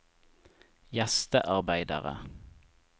gjestearbeidere